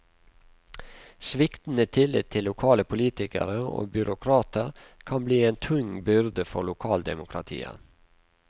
Sviktende tillit til lokale politikere og byråkrater kan bli en tung byrde for lokaldemokratiet.